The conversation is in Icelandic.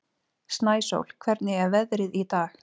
Snæsól, hvernig er veðrið í dag?